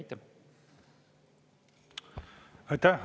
Aitäh!